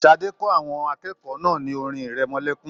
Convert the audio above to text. Sadé kọ́ àwọn akẹ́kọ̀ọ́ náà ní orin-ìrẹmọlẹ́kún.